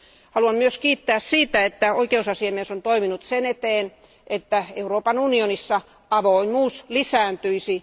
Haluan myös kiittää siitä, että oikeusasiamies on toiminut sen eteen, että Euroopan unionissa avoimuus lisääntyisi.